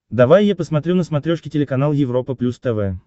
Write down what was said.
давай я посмотрю на смотрешке телеканал европа плюс тв